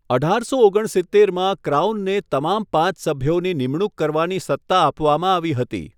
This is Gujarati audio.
અઢારસો ઓગણ સિત્તેરમાં ક્રાઉનને તમામ પાંચ સભ્યોની નિમણૂક કરવાની સત્તા આપવામાં આવી હતી.